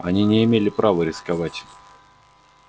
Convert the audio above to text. они не имели права рисковать